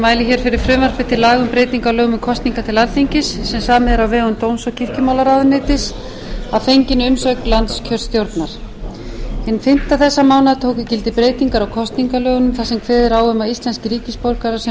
mæli hér fyrir frumvarpi til laga um breyting á lögum um kosningar til alþingis hinn fimmti þessa mánaðar tóku gildi breytingar á kosningalögunum þar sem kveðið er á um að íslenskir ríkisborgarar sem búsettir